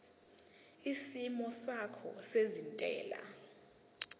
isimo sakho sezentela